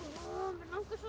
mig langar svo